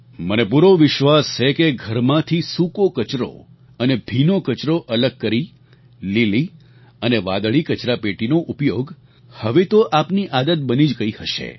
મને પૂરો વિશ્વાસ છે કે ઘરમાંથી સૂકો કચરો અને ભીનો કચરો અલગ કરી લીલી અને વાદળી કચરાપેટીનો ઉપયોગ હવે તો આપની આદત બની જ ગઈ હશે